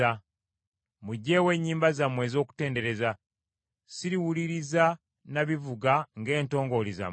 Muggyeewo ennyimba zammwe ez’okutendereza. Siriwuliriza na bivuga ng’entongooli zammwe.